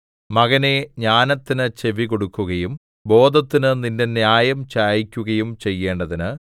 മകനേ ജ്ഞാനത്തിന് ചെവികൊടുക്കുകയും ബോധത്തിന് നിന്റെ ഹൃദയം ചായിക്കുകയും ചെയ്യേണ്ടതിന്